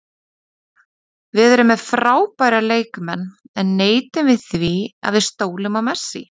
Við erum með frábæra leikmenn en neitum við því að við stólum á Messi?